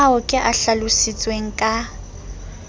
ao ke a hlalositseng ka